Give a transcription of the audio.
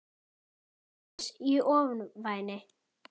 Bíður hans í ofvæni.